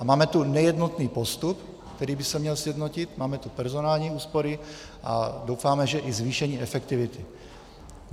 A máme tu nejednotný postup, který by se měl sjednotit, máme tu personální úspory a doufáme, že i zvýšení efektivity.